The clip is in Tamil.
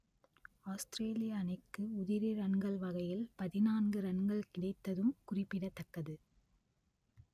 ஆஸ்திரேலியா அணிக்கு உதிரி ரன்கள் வகையில் பதினான்கு ரன்கள் கிடைத்ததும் குறிப்பிடத்தக்கது